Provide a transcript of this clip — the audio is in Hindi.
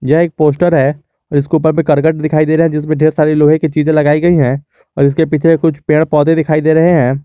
यह एक पोस्टर है इसके उपर में करकट दिखाई दे रहा है जिसमें ढेर सारी लोहे की चीजे लगाई गई है और इसके पीछे कुछ पेड़-पौधे दिखाई दे रहे हैं।